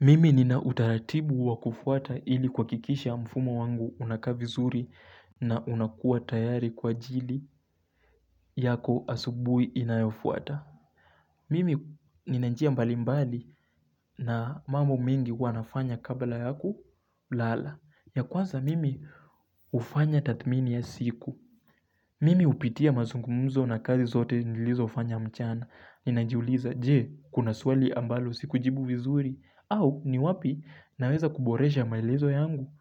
Mimi nina utaratibu wakufuata ili kwakikisha mfumo wangu unaka vizuri na unakua tayari kwa ajili yako asubui inayofuata. Mimi nina njia mbalimbali na mambo mingi huwa nafanya kabla ya kulala. Ya kwanza mimi ufanya tatmini ya siku. Mimi upitia mazungumuzo na kazi zote nilizofanya mchana. Ninajiuliza je kuna suali ambalo siku jibu vizuri. Au ni wapi naweza kuboresha maelezo yangu.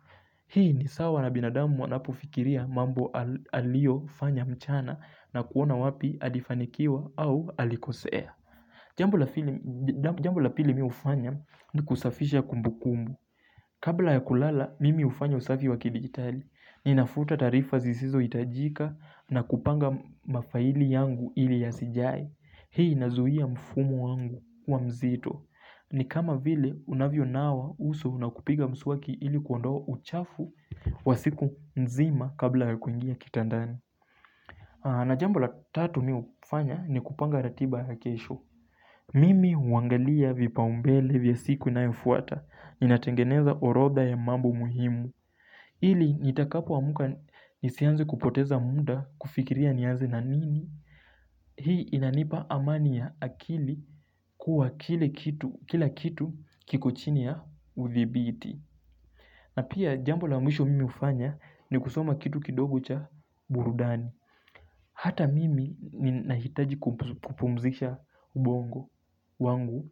Hii ni sawa na binadamu wanapufikiria mambo aliofanya mchana na kuona wapi alifanikiwa au alikosea. Jambo la pili mi ufanya ni kusafisha kumbukumu. Kabla ya kulala mimi ufanya usafi wakidigitali. Ninafuta tarifa zizizoitajika na kupanga mafaili yangu ili yasijae. Hii inazuia mfumo wangu wa mzito. Ni kama vile unavyo nawa uso na kupiga msuwaki ili kuondoa uchafu wa siku nzima kabla kuingia kitandani. Na jambo la tatu mi ufanya ni kupanga ratiba ya kesho. Mimi uangalia vipaumbele vya siku inayofuata. Ninatengeneza orodha ya mambo muhimu ili nitakapowamuka nisianze kupoteza munda kufikiria ni yanze na nini. Hii inanipa amani ya akili kuwa kila kitu kiko chini ya udhibiti. Na pia jambo la mwisho mimi ufanya ni kusoma kitu kidogo cha burudani. Hata mimi ni nahitaji kupumzisha ubongo wangu.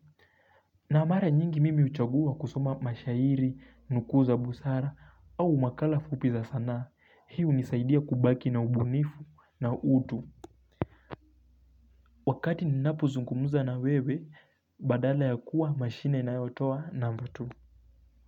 Na mara nyingi mimi uchagua kusoma mashairi nuku za busara au makala fupi za sana. Hiu unisaidia kubaki na ubunifu na utu. Wakati ninapozungumuza na wewe badala ya kuwa mashine inayotoa number two.